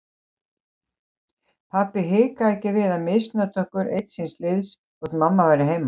Pabbi hikaði ekki við að misnota okkur einn síns liðs þótt mamma væri heima.